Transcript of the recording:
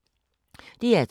DR2